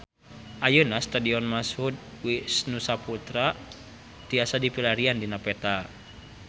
Ayeuna Stadion Mashud Wisnusaputra tiasa dipilarian dina peta